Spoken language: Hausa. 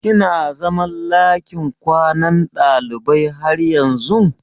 Kina zaman lakin kwanan ɗalibai har yanzun?